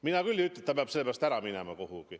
Mina küll ei ütle, et ta peab sellepärast kuhugi ära minema.